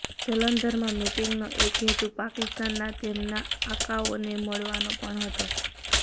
જલંધરમાં મિટિંગનો એક હેતુ પાકિસ્તાનનાં તેમનાં આકાઓને મળવાનો પણ હતો